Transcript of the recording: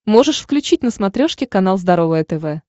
можешь включить на смотрешке канал здоровое тв